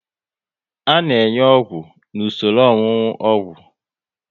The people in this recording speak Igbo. A na enye ọgwụ n'usoro ọṅụnụ ogwu